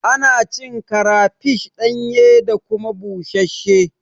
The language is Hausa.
Ana cin karafish ɗanye da kuma busasshe